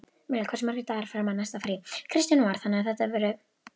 Milla, hversu margir dagar fram að næsta fríi?